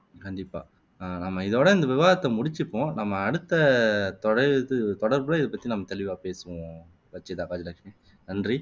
கண்டிப்பா அஹ் இதோட இந்த விவாதத்தை முடிச்சுக்குவோம் நம்ம அடுத்த தொடையுது தொடப்புல இதை பத்தி நம்ம தெளிவா பேசுவோம் ரச்சிதா நன்றி